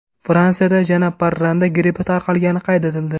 Fransiyada yana parranda grippi tarqalgani qayd etildi.